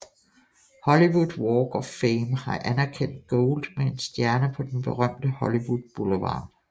Hollywood Walk of Fame har anerkendt Gold med en stjerne på den berømte Hollywood Boulevard